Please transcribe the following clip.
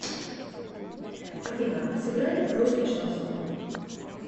афина сыграй русский шансон